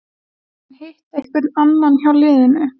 Hefur hann hitt einhvern annan hjá liðinu?